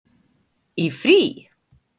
Í frí?